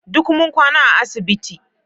Duk mun kwana a asibiti